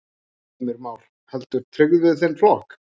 Heimir Már: Heldur tryggð við þinn flokk?